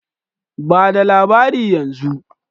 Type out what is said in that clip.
Ba da labari yanzu!